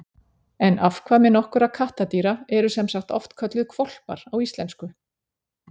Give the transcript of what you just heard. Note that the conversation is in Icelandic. En afkvæmi nokkurra kattardýra eru sem sagt oft kölluð hvolpar á íslensku.